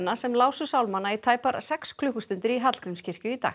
sem lásu sálmana í tæpa sex klukkustundir í Hallgrímskirkju í dag